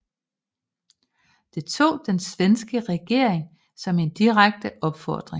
Det tog den svenske regering som en direkte opfordring